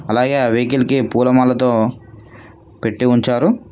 అలాగే వెహికల్ కి పూలమాలతో పెట్టి ఉంచారు.